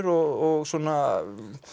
og svona